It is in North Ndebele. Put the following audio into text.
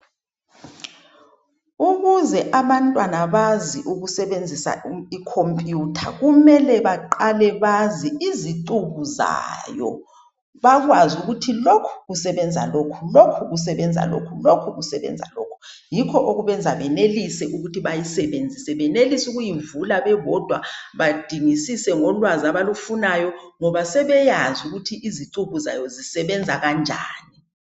Ukuze abantwana bazi ukusebenzisa i computer kumele baqale bazi izicubuzayo bakwazi ukuthi lokhu kusebenza lokhu lokhu kusenzenza lokhu lokhu kusebenza lokhu yikho okubenza benelise ukuthi bayisebenzise besebeyivula bebodwa badingisise ngolwazi abalufunayo ngoba sebeyazi ukuthi izicubu zayo zisebenza kanjani